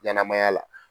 Ɲɛnɛmaya la